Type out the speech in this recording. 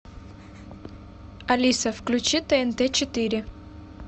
алиса включи тнт четыре